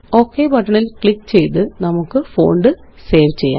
okay ബട്ടണില് click ചെയ്ത്നമുക്ക് font save ചെയ്യാം